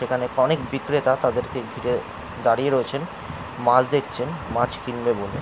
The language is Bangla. এখানে অনেক বিক্রেতা তাদেরকে ঘিরে দাঁড়িয়ে রয়েছেন। মাছ দেখছেন মাছ কিনবে বলে।